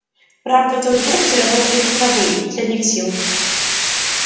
правда в тот год все работали как рабы из последних сил